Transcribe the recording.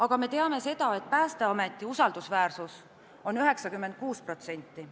Aga me teame seda, et Päästeameti usaldusväärsus on 96%.